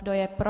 Kdo je pro?